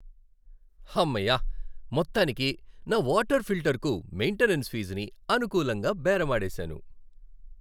హమ్మయ్య, మొత్తానికి నా వాటర్ ఫిల్టర్కు మైంటెనెన్స్ ఫీజుని అనుకూలంగా బేరమాడేశాను.